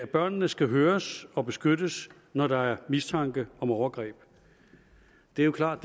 børnene skal høres og beskyttes når der er mistanke om overgreb det er klart